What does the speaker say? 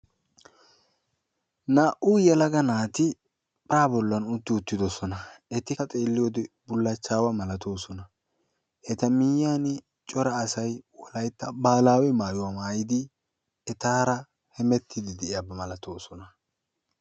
Naa"u yelaga naati para bollan utti uttidoosona; etikka xeliyoode bullachchawa malattoosona; eta miyiyyan cora asay Wolaytta baalawe maayuwaa maayyidi hemettide de'oosona.